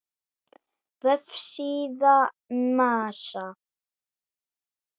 Vefsíða NASA.